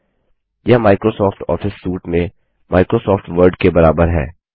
000027 000026 यह Microsoft office suite में Microsoft Word के बराबर है